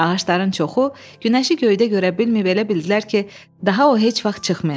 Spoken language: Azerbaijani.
Ağacların çoxu günəşi göydə görə bilməyib elə bildilər ki, daha o heç vaxt çıxmayacaq.